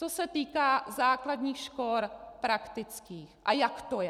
Co se týká základních škol praktických a jak to je.